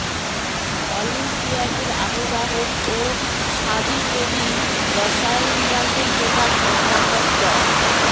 অলিম্পিয়াডের আহ্বায়ক ও শাবিপ্রবির রসায়ন বিভাগের প্রধান অধ্যাপক ড